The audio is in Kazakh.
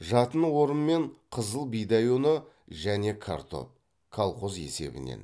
жатын орын мен қызыл бидай ұны және картоп колхоз есебінен